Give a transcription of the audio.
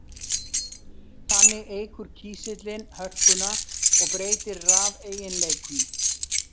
Þannig eykur kísillinn hörkuna og breytir rafeiginleikum.